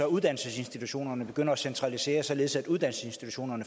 uddannelsesinstitutionerne begynder at centralisere så de